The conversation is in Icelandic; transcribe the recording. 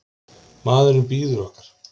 Maðurinn bíður okkar.